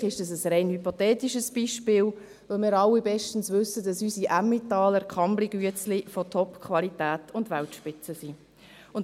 Und natürlich ist das ein rein hypothetisches Beispiel, weil wir alle bestens wissen, dass unsere Emmentaler Kambly-Biskuits von Topqualität und Weltspitze sind.